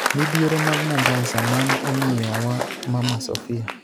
Midhiero mag Mombasa, mane omiyo wa Mama Sofia,